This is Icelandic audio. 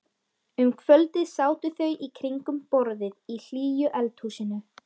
Um kvöldið sátu þau í kringum borðið í hlýju eldhúsinu.